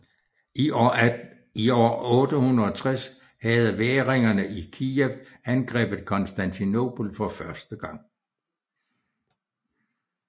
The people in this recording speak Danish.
I år 860 havde væringerne i Kijev angrebet Konstantinopel for første gang